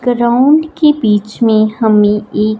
room के बीच में हमें एक--